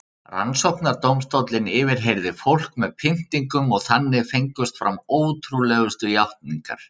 Rannsóknardómstóllinn yfirheyrði fólk með pyntingum og þannig fengust fram ótrúlegustu játningar.